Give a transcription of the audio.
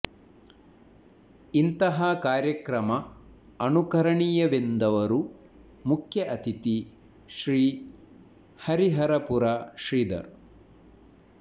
ಇಂತಹ ಕಾರ್ಯಕ್ರಮ ಅನುಕರಣೀಯವೆಂದವರು ಮುಖ್ಯ ಅತಿಥಿ ಶ್ರೀ ಹರಿಹರಪುರ ಶ್ರೀಧರ್